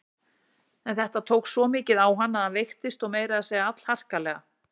En þetta tók svo mikið á hann að hann veiktist og meira að segja allharkalega.